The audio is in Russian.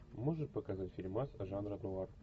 можешь показать фильмас жанра нуар